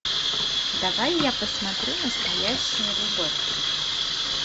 давай я посмотрю настоящая любовь